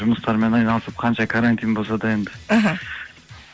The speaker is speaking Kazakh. жұмыстармен айналысып қанша карантин болса да енді іхі